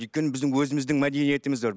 өйткені біздің өзіміздің мәдениетіміз бар